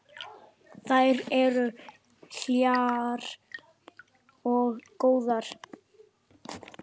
Þær eru hlýjar og góðar.